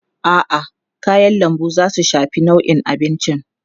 A'a, kayan lambu za su shafi launin abincin.